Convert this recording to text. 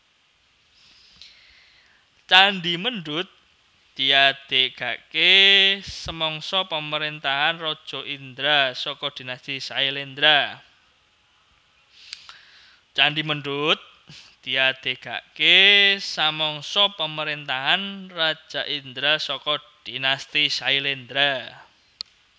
Candhi Mendut diadegaké samangsa pamaréntahan Raja Indra saka dinasti Syailendra